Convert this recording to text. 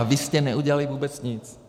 A vy jste neudělali vůbec nic.